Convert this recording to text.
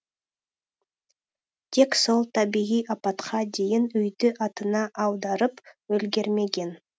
тек сол табиғи апатқа дейін үйді атына аударып үлгермеген